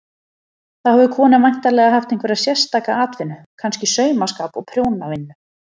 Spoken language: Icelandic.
Þá hefur konan væntanlega haft einhverja sérstaka atvinnu, kannski saumaskap og prjónavinnu.